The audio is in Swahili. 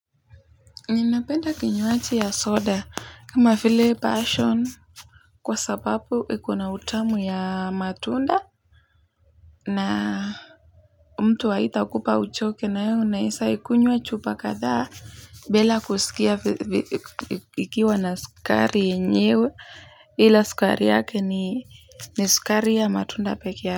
Ninapenda kinywaji ya soda kama file passion kwa sababu ikona utamu ya matunda na mtu haita kupa uchoke na yo unaisa ikunywa chupa kadhaa bila kusikia ikiwa na sukari yenyewe ila sukari yake ni sukari ya matunda peke ya.